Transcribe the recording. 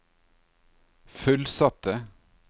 fullsatte